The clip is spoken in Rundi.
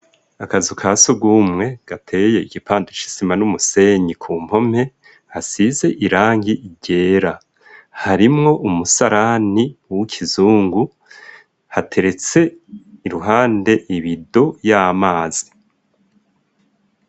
Akazu ka sugumwe gateye igipande c'isima n'umusenyi ku mpome hasize irangi ryera, harimwo umusarani w'ikizungu hateretse iruhande ibido y'amazi.